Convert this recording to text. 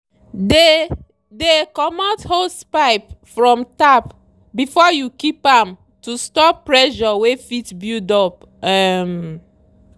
dey dey commot hosepipe from tap before you keep am to stop pressure wey fit build up. um